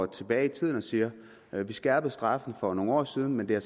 tilbage i tiden og siger at vi skærpede straffene for nogle år siden men at